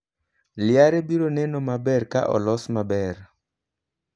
Liare biro neno maber ka olos maber.